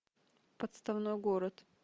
подставной город